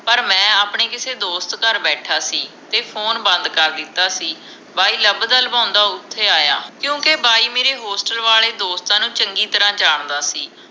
ਪਰ ਮੈਂ ਆਪਣੇ ਕਿਸੇ ਦੋਸਤ ਘਰ ਬੈਠਾ ਸੀ ਤੇ ਫੋਨ ਬੰਦ ਕਰ ਦਿੱਤਾ ਸੀ ਬਾਈ ਲੱਭਦਾ ਲਭਓਂਦਾ ਓਥੇ ਆਇਆ ਕਿਉਂਕਿ ਬਾਈ ਮੇਰੇ ਹੋਸਟਲ ਵਾਲੇ ਦੋਸਤਾਂ ਨੂੰ ਚੰਗੀ ਤਰ੍ਹਾਂ ਜਾਣਦਾ ਸੀ